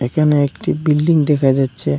এখানে একটি বিল্ডিং দেখা যাচ্ছে।